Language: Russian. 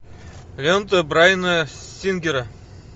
лента брайана сингера